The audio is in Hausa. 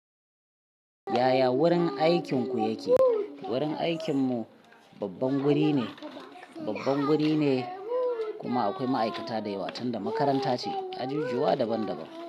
Ya ya wurin aikinku yake? Wurin aikin mu babban guri ne, babban guri ne kuma akwai ma'aikata da yawa tunda makaranta ce, ajujuwa daban daban.